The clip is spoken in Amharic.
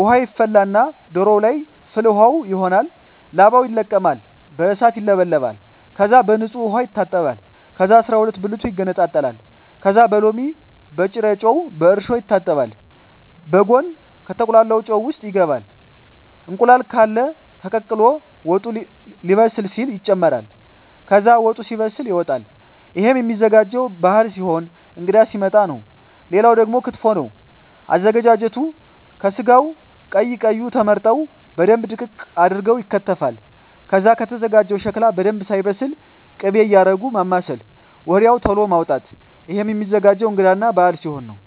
ውሃ ይፈላና ዶሮዎ ለይ ፍል ውሃው ይሆናል ላባው ይለቀማል በእሳት ይውለበለባል ከዛ በንጹህ ዉሃ ይታጠባል ከዛ አስራሁለት ብልቱ ይገነጣጠላል ከዛ በሎሚ በጭረጮ በእርሾ ይታጠባል በጉን ከተቁላላው ጨው ውሰጥ ይገባል እንቁላል ቃለ ተቀቅሎ ወጡ ሌበስል ሲል ይጨምራል ከዛ ወጡ ሲበስል ይወጣል እሄም ሚዘጋጀው ባህል ሲሆን እንግዳ ሲመጣ ነው ሌላው ደግሞ ክትፎ ነው አዘገጃጀቱ ከስጋው ቀይ ቀዩ ተመርጠው በደንብ ድቅቅ አርገው ይከተፋል ከዛ ከተዘጋጀው ሸክላ በደንብ ሳይበስል ክቤ እያረጉ ማማሰል ወድያው ተሎ ማዉጣት እሄም ሚዘገጀው እንግዳ እና በአል ሲሆን ነው